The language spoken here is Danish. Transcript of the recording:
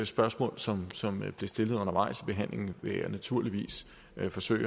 spørgsmål som som blev stillet undervejs i behandlingen vil jeg naturligvis forsøge